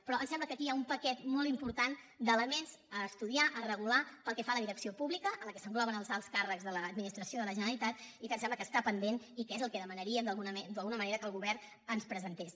però em sembla que aquí hi ha un paquet molt important d’elements a estudiar a regular pel que fa a la direcció pública en què s’engloben els alts càrrecs de l’administració de la generalitat i que em sembla que està pendent i que és el que demanaríem d’alguna manera que el govern ens presentés